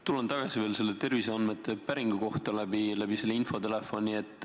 Tulen veel tagasi selle terviseandmete päringu juurde läbi infotelefoni.